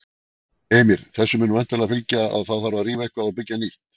Heimir: Þessu mun væntanlega fylgja að það þarf að rífa eitthvað og byggja nýtt?